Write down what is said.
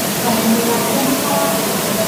Kameme gake nĩkarahĩire